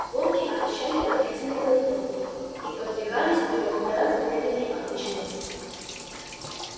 волки отощали от длительной голодовки и подвигались вперёд гораздо медленнее обычного